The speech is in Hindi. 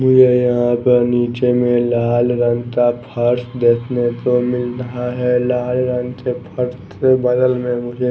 मुझे यहां पर नीचे में लाल रंग का फर्श देखने को मिल रहा है लाल रंग के फर्श बगल में मुझे--